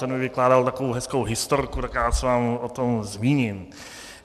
Ten mi vykládal takovou hezkou historku, tak já se vám o tom zmíním.